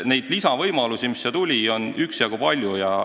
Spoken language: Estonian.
Neid lisavõimalusi, mis nüüd avanevad, on üksjagu palju.